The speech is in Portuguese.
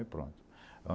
E pronto.